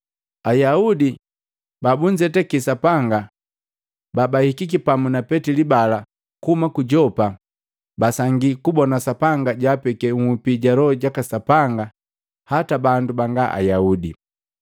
Ayaudi babunzetake Sapanga babahikiki pamu na Petili bala kuhuma ku Yopa, basangi kubona Sapanga jwaapeki nhupi ja Loho jaka Sapanga hata bandu banga Ayaudi,